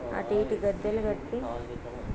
అటు ఇటు గద్దెలు కట్టి--